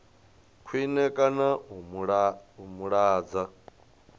khwine kana u mu lwadza